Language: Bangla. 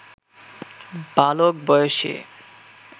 বালক বয়সে